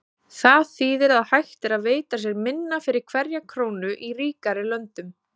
Það þýðir að hægt er að veita sér minna fyrir hverja krónu í ríkari löndunum.